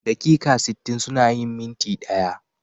Daƙiƙa sittin suna yin minti ɗaya.